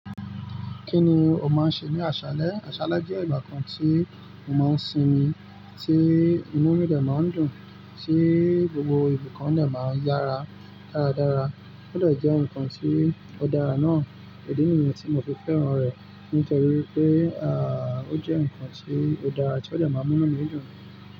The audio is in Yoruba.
Kí ni o máa ń ṣe ní aṣálẹ́? Aṣálẹ́ jẹ́ ìgbà kan tí mo máa ń sinmi, tí inú mi dẹ̀ máa ń dùn, tí gbogbo nkan dẹ̀ máa ń yára dáradára. Ó dẹ̀ jẹ́ nǹkan tí ó dára náà. Idí nìyẹn tí mo fi fẹ́ràn rẹ̀ nítorí pé, à, ó jẹ́ nǹkan tí ó dára tí ó dẹ̀ máa ń mú mí dùn.